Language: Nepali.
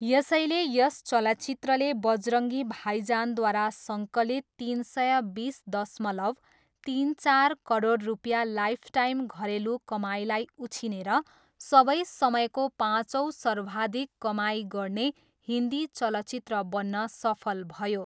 यसैले यस चलचित्रले बजरङ्गी भाइजानद्वारा सङ्कलित तिन सय बिस दशमलव तिन चार करोड रुपियाँ लाइफटाइम घरेलु कमाइलाई उछिनेर सबै समयको पाँचौँ सर्वाधिक कमाइ गर्ने हिन्दी चलचित्र बन्न सफल भयो।